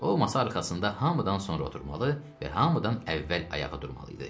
O masa arxasında hamıdan sonra oturmalı və hamıdan əvvəl ayağa durmalı idi.